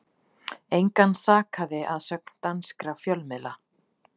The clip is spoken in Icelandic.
Engan sakaði að sögn danskra fjölmiðla